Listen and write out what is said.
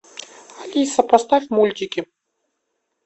алиса поставь мультики